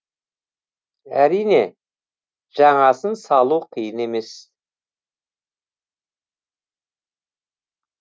әрине жаңасын салу қиын емес